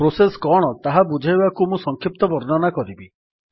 process କଣ ତାହା ବୁଝାଇବାକୁ ମୁଁ ସଂକ୍ଷିପ୍ତ ବର୍ଣ୍ଣନା କରିବି